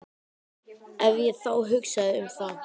Ef ég þá hugsaði um það.